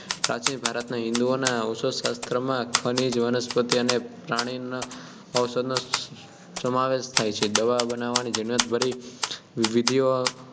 પ્રાચીન ભારતના હિંદુઓનાં ઔષધશાસ્ત્રમાં ખનીજ વનસ્પતિ અને પ્રાણીઓની ઔષધિઓનો સમાવેશ થાય છે દવા બનાવવાની ઝીણવટભરી વિધિઓની